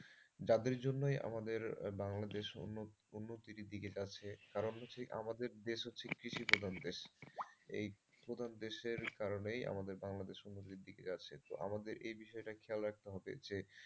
যাদের জন্যই আমাদের বাংলাদেশ উন্নত উন্নতির দিকে যাচ্ছে কারণ হচ্ছে কি আমাদের দেশ হচ্ছে কৃষি প্রধান দেশ। এই কৃষিপ্রধান দেশের কারণেই আমাদের বাংলাদেশ উন্নতির দিকে যাচ্ছে তো আমাদের এই বিষয়টা খেয়াল রাখতে হবে যে,